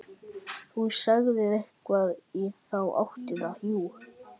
Þú sagðir eitthvað í þá áttina, jú.